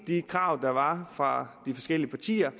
de krav der var fra de forskellige partiers